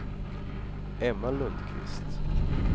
Emma Lundquist